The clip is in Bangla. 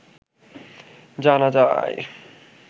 জানা যায়